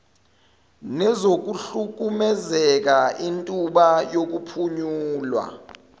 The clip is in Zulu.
nezokuhlukumezeka intuba yokuphunyula